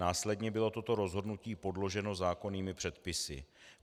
Následně bylo toto rozhodnutí podloženo zákonnými předpisy.